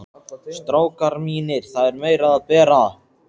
STRÁKAR MÍNIR, ÞAÐ ER MEIRA AÐ BERA.